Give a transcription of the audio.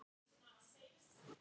Þó eru þar ákveðin þolmörk.